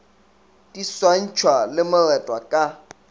di swantšhwa le moretwa ka